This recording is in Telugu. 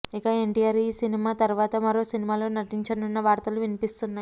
ఇక ఎన్టీఆర్ ఈ సినిమా తరువాత మరో సినిమాలో నటించనున్న వార్తలు వినిపిస్తున్నాయి